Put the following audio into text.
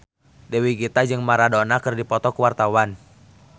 Dewi Gita jeung Maradona keur dipoto ku wartawan